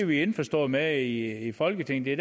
vi indforstået med i folketinget